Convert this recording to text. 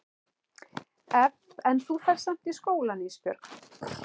En þú ferð samt í skólann Ísbjörg.